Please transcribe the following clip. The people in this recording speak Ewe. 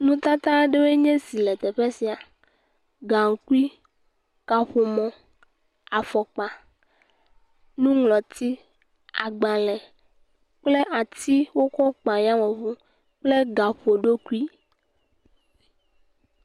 Nutata aɖewoe nye esi le teƒe ya, gaŋkui, kaƒomɔ, afɔkpa, nuŋlɔti agbalẽ kple ati wokɔ kpa ayameŋu kple gaƒoɖokui.